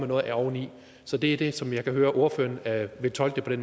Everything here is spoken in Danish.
noget oveni så det er som jeg kan høre ordføreren vil tolke